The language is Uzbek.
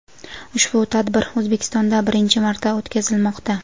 Ushbu tadbir O‘zbekistonda birinchi marta o‘tkazilmoqda.